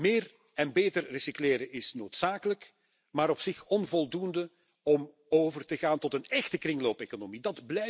Meer en beter recycleren is noodzakelijk, maar op zich onvoldoende om over te gaan tot een échte kringloopeconomie.